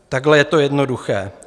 Takhle je to jednoduché.